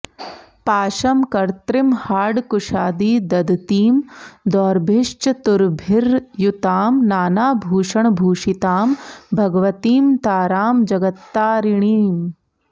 पाशं कर्त्रीमहाङ्कुशादि दधतीं दोर्भिश्चतुर्भिर्युतां नानाभूषणभूषितां भगवतीं तारां जगत्तारिणीम्